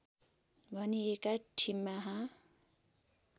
भनिएका ठिमाहा